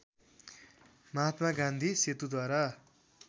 Mahatma Gandhi सेतुद्वारा